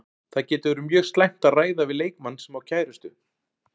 Það getur verið mjög slæmt að ræða við leikmann sem á kærustu.